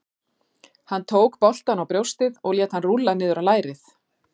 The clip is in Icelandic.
Hann tók boltann á brjóstið og lét hann rúlla niður á lærið.